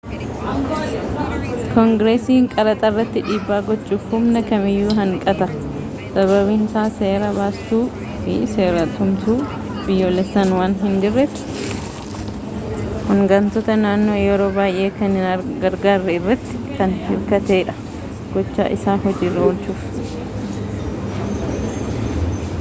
koongireesiin qaraxa irratti dhiibbaa gochuuf humna kamiyyuu hanqata sababiinsaa seera baastuu fi seeratumtuun biyyoolessaan waan hin jirreefi hogantoota naannoo yeroo baay'ee kan hin gargaarre iratti kan hirkatee dha gocha isaa hojiirra oolchuuf